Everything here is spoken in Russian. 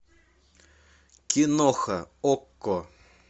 киноха окко